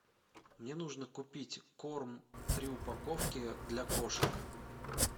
мне нужно купить корм три упаковки для кошек